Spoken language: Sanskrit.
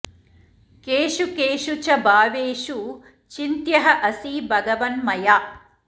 केषु केषु च भावेषु चिन्त्यः असि भगवन् मया